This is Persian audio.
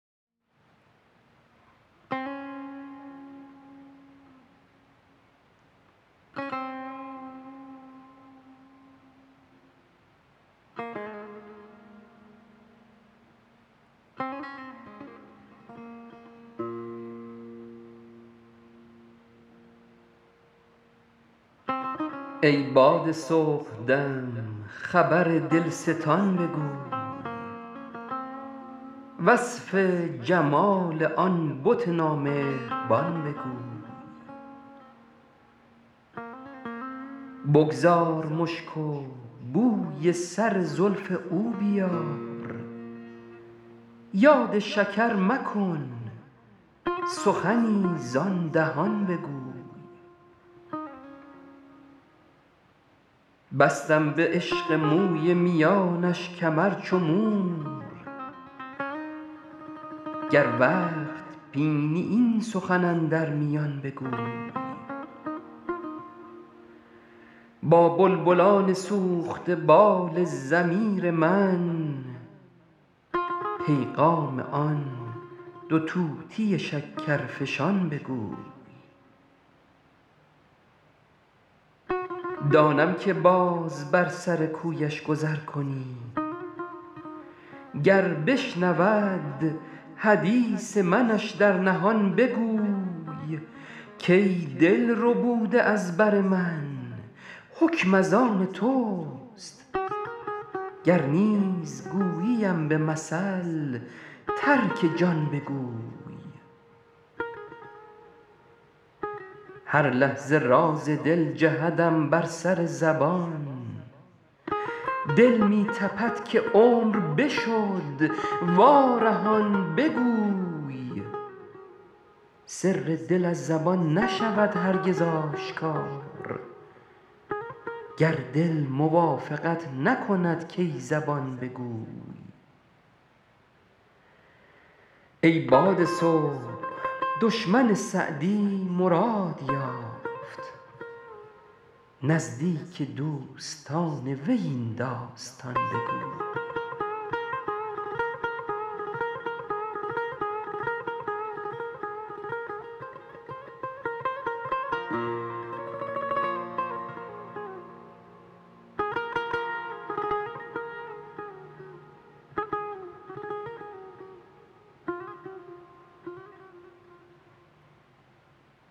ای باد صبحدم خبر دلستان بگوی وصف جمال آن بت نامهربان بگوی بگذار مشک و بوی سر زلف او بیار یاد شکر مکن سخنی زآن دهان بگوی بستم به عشق موی میانش کمر چو مور گر وقت بینی این سخن اندر میان بگوی با بلبلان سوخته بال ضمیر من پیغام آن دو طوطی شکرفشان بگوی دانم که باز بر سر کویش گذر کنی گر بشنود حدیث منش در نهان بگوی کای دل ربوده از بر من حکم از آن توست گر نیز گوییم به مثل ترک جان بگوی هر لحظه راز دل جهدم بر سر زبان دل می تپد که عمر بشد وارهان بگوی سر دل از زبان نشود هرگز آشکار گر دل موافقت نکند کای زبان بگوی ای باد صبح دشمن سعدی مراد یافت نزدیک دوستان وی این داستان بگوی